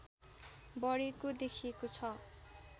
बढेको देखिएको छ